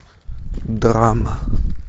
драма